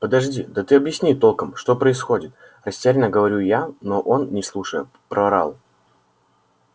подожди да ты объясни толком что происходит растеряно говорю я но он не слушая проорал